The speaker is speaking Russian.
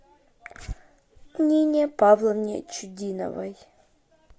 нине павловне чудиновой